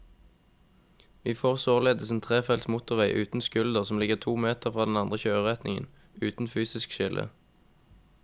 Vi får således en trefelts motorvei uten skulder som ligger to meter fra den andre kjøreretningen, uten fysisk skille.